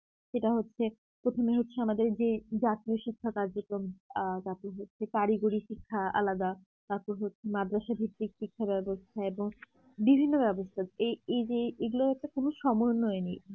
সেটা হচ্ছে প্রথমে হচ্ছে আমাদের যেই জাতীয় শিক্ষা কার্যক্রম আ তারপর হচ্ছে কারিগরি শিক্ষা আলাদা তারপর হচ্ছে মাদ্রাসা ভিত্তিক শিক্ষাব্যবস্থা এবং বিভিন্ন ব্যবস্থা এই এই যে এগুলো একটা কোন সমন্বয় নেই